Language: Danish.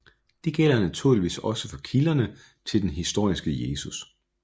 Det gælder naturligvis også for kilderne til den historiske Jesus